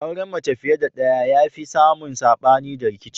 Auren mace fiye da ɗaya ya fi samun sabani da rikici